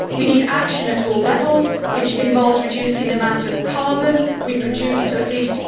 We need action at all levels, which involves reducing the amount of carbon we produce to at least